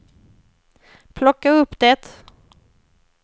plocka upp det